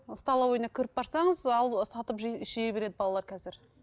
столовыйына кіріп барсаңыз ал сатып жей іше береді балалар қазір